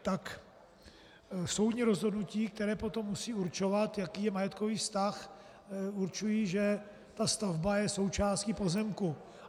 - tak soudní rozhodnutí, která potom musí určovat, jaký je majetkový vztah, určují, že ta stavba je součástí pozemku.